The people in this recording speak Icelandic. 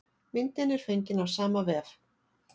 Myndin er fengin af sama vef.